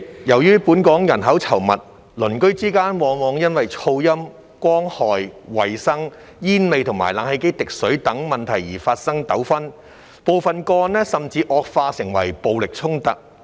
由於本港人口稠密，鄰居之間往往因噪音、光害、衞生、煙味和冷氣機滴水等問題而發生糾紛，部分個案甚至惡化為暴力衝突。